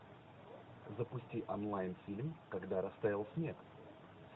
запусти онлайн фильм когда растаял снег